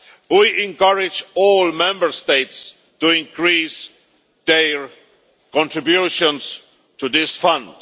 We encourage all Member States to increase their contributions to this fund.